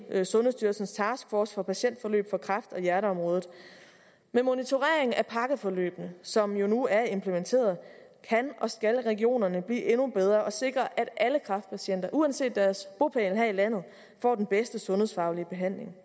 sundhedsstyrelsens task force for patientforløb på kræft og hjerteområdet med monitorering af pakkeforløbene som jo nu er implementeret kan og skal regionerne blive endnu bedre og sikre at alle kræftpatienter uanset deres bopæl her i landet får den bedste sundhedsfaglige behandling